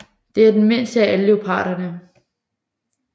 Det er den mindste af alle leoparderne